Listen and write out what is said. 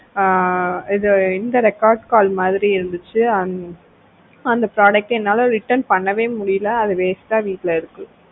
அஹ் இது இந்த record call மாதிரி இருந்துச்சு அந்த product என்னால return பண்ணவே முடியல அது waste ஆ வீட்ல இருக்கு